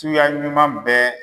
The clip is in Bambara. Tuya ɲuman bɛɛ